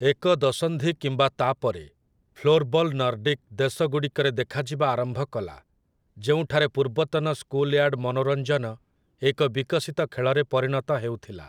ଏକ ଦଶନ୍ଧି କିମ୍ବା ତା'ପରେ, ଫ୍ଲୋର୍‌ବଲ୍ ନର୍ଡିକ୍ ଦେଶଗୁଡ଼ିକରେ ଦେଖାଯିବା ଆରମ୍ଭ କଲା, ଯେଉଁଠାରେ ପୂର୍ବତନ ସ୍କୁଲୟାର୍ଡ ମନୋରଞ୍ଜନ ଏକ ବିକଶିତ ଖେଳରେ ପରିଣତ ହେଉଥିଲା ।